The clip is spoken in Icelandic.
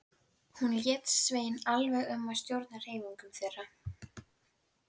Hann gekk ekki í gegn heldur stöðvaðist í miðri pylsu.